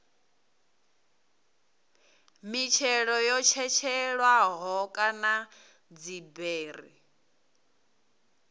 mitshelo yo tshetshelelwaho kana dziberi